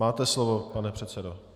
Máte slovo, pane předsedo.